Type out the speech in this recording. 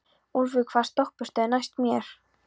Úlfur, hvaða stoppistöð er næst mér?